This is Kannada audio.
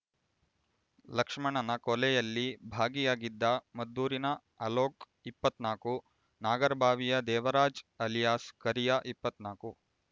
ಲಕ್ಷ್ಮಣನ ಕೊಲೆಯಲ್ಲಿ ಭಾಗಿಯಾಗಿದ್ದ ಮದ್ದೂರಿನ ಅಲೋಕ್ ಇಪ್ಪತ್ತ್ ನಾಕು ನಾಗರಬಾವಿಯ ದೇವರಾಜ್ ಅಲಿಯಾಸ್ ಕರಿಯ ಇಪ್ಪತ್ತ್ ನಾಕು